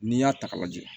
N'i y'a ta k'a lajɛ